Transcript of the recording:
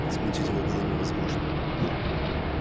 смутить его было невозможно